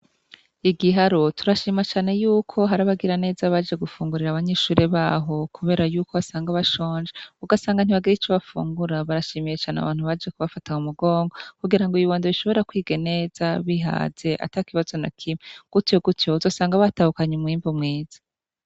Igiharo turashima cane yuko hari abagiraneza baje gufungurira abanyeshuri baho kubera yuko basanga bashonje ugasanga ntibagira ico bafungura, barashimiye cane abantu baje kubafataga mu mugongo kugirango ibibondo bishobore kwiga neza bihaze atakibazo na kimwe gutyo gutyo bazosanga batahukanye umwimbu mwiza.